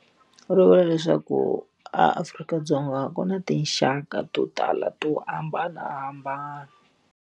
Ri vula leswaku aAfrika-Dzonga ku na tinxaka to tala to hambanahambana.